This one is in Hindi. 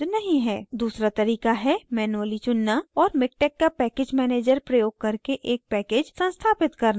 दूसरा तरीका है manually चुनना और miktex का package manager प्रयोग करके एक package संस्थापित करना